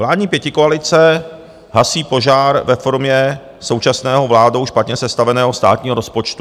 Vládní pětikoalice hasí požár ve formě současného, vládou špatně sestaveného státního rozpočtu.